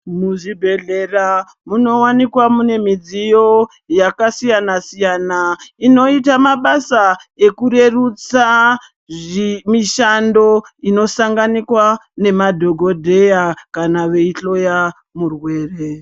Muzvibhedhlera munowanikwa mune midziyo yakasiyana siyana inoita mabasa ekurerutsa mishando inosanganikwa nemadhokodheya kana veihloya murwere.